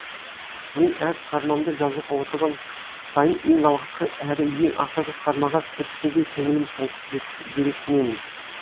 мен әр шығармамды жазуға отырған сайын ең алғашқы әрі ең ақырғы шығармаға кіріскендей көңілім толқып жүрексінемін